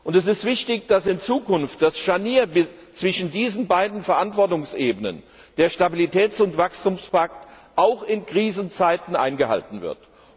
Es ist wichtig, dass in Zukunft das Scharnier zwischen diesen beiden Verantwortungsebenen der Stabilitäts und Wachstumspakt auch in Krisenzeiten eingehalten wird.